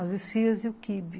As esfihas e o quibe.